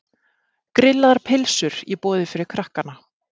Grillaðar pylsur í boði fyrir krakkana.